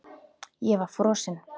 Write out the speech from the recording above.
Ég var frosin.